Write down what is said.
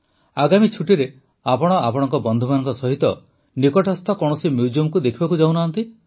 ଆଗାମୀ ଛୁଟିରେ ଆପଣ ଆପଣଙ୍କ ବନ୍ଧୁମାନଙ୍କ ସହିତ କୌଣସି ସ୍ଥାନୀୟ ମ୍ୟୁଜିୟମକୁ ଦେଖିବାକୁ ଯାଉନାହାନ୍ତି